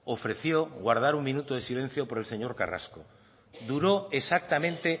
ofreció guardar un minuto de silencio por el señor carrasco duró exactamente